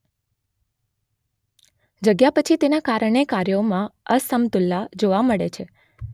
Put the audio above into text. જાગ્યા પછી તેના કારણે કાર્યોમાં અસમતુલા જોવા મળે છે